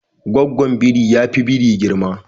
Gaggwon biri yafi biri girma.